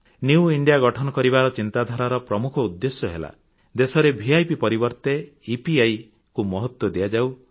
new India ଗଠନ କରିବା ଚିନ୍ତାଧାରାର ପ୍ରମୁଖ ଉଦ୍ଦେଶ୍ୟ ହେଲା ଦେଶରେ ଭିପ୍ ପରିବର୍ତେ ଇପିଆଇ କୁ ମହତ୍ୱ ଦିଆଯାଉ